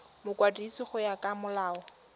mokwadisi go ya ka molao